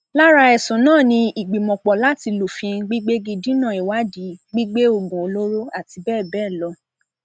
lára ẹsùn náà ni ìgbìmọpọ láti lufin gbígbégi dínà ìwádìí gbígbé oògùn olóró àti bẹẹ bẹẹ lọ